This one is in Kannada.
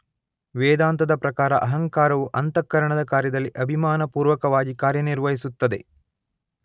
ವೇದಾಂತದ ಪ್ರಕಾರ ಅಹಂಕಾರವು ಅಂತಃಕರಣದ ಕಾರ್ಯದಲ್ಲಿ ಅಭಿಮಾನಪೂರ್ವಕವಾಗಿ ಕಾರ್ಯನಿರ್ವಹಿಸಿತ್ತದೆ